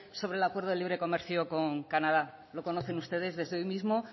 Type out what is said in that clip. sobre el acuerdo de libre comercio con canadá lo conocen ustedes desde hoy mismo